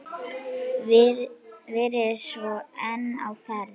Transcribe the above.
Verið svolítið einn á ferð?